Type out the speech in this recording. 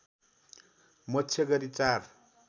मोक्ष गरी चार